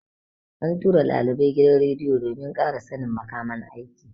An tura ɗalibai gidan rediyo domin ƙara sannin makaman aiki.